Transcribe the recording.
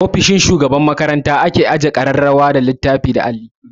Ofishin shugaban makaranta ake ajiye ƙararrawa, littattafai da alli.